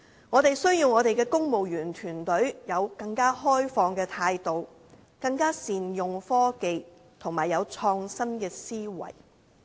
我們需要我們的公務員團隊有更開放的態度，更能善用科技，以及有創新的思維。